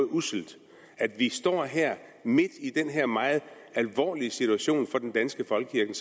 usselt at vi står her midt i den her meget alvorlige situation for den danske folkekirke